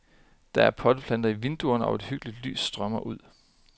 Der er potteplanter i vinduerne og et hyggeligt lys strømmer ud.